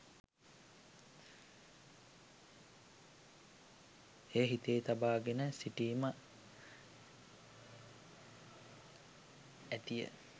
එය හිතේ තබා ගෙන සිටීම ඇතිය.